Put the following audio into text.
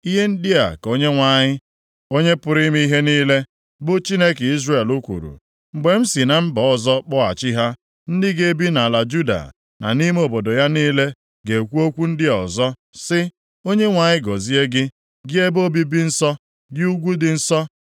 Ihe ndị a ka Onyenwe anyị, Onye pụrụ ime ihe niile, bụ Chineke Izrel, kwuru, “Mgbe m si na mba ọzọ kpọghachi ha, ndị ga-ebi nʼala Juda na nʼime obodo ya niile ga-ekwu okwu ndị a ọzọ sị: ‘ Onyenwe anyị gọzie gị, gị ebe obibi dị nsọ, gị ugwu dị nsọ.’